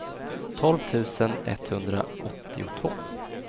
tolv tusen etthundraåttiotvå